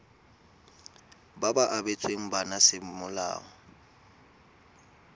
ba ba abetsweng bana semolao